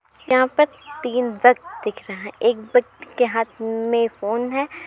यहाँ पर तीन व्यक्त दिख रहा है एक व्यक्त के हाथ म-में फ़ोन है |